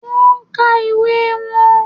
Wón nka ìwé won